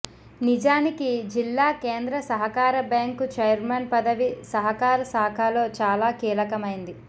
నిజానికి జిల్లా కేంద్ర సహకార బ్యాంకు చైర్మన్ పదవి సహకార శాఖలో చాలా కీలకమైంది